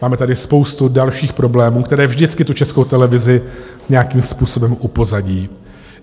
Máme tady spoustu dalších problémů, které vždycky tu Českou televizi nějakým způsobem upozadí.